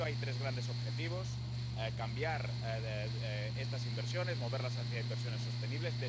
Para ello, hay tres grandes objetivos cambiar estas inversiones, moverlas hacia inversiones sostenibles